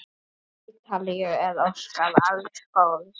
Ítalíu er óskað alls góðs.